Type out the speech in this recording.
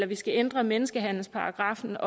vi skal ændre menneskehandelsparagraffen